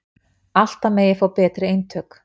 Alltaf megi fá betri eintök